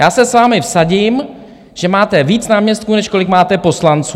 Já se s vámi vsadím, že máte víc náměstků, než kolik máte poslanců.